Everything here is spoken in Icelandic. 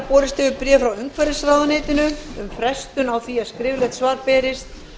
borist hefur bréf frá umhverfisráðuneytinu um frestun á því að skriflegt svar berist